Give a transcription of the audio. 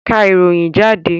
Ká ìròyìn jáde!